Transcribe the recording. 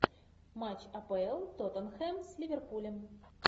матч апл тоттенхэм с ливерпулем